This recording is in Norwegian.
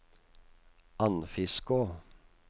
Andfiskå